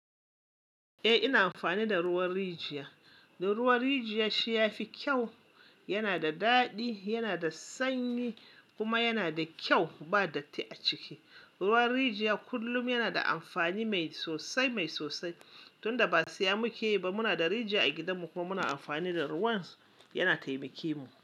Eh ina amfani da ruwan rijiya. Da ruwan rijiya shi ya fi kyau, yana da daɗi, yana da sanyi kuma yana da kyau ba datti a ciki. Ruwan rijiya kullum yana da amfani mai sosai, mai sosai. Tun da ba saya muke yi ba muna da rijiya a gidanmu kuma muna amfani da ruwan, yana taimake mu.